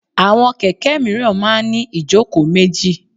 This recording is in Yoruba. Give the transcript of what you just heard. Àwọn kẹ̀kẹ́ míràn máa ń ní ìjókòó méjì.